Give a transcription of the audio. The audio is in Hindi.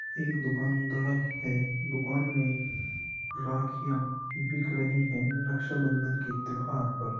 एक दुकानदार है। दुकान में राखियां बिक रही हैं रक्षाबंधन के त्योहार पर।